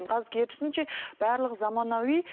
қазір керісінше барлығы заманауи